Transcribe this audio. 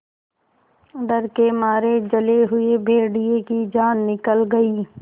डर के मारे जले हुए भेड़िए की जान निकल गई